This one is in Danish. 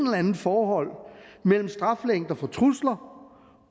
eller andet forhold mellem straffelængder for trusler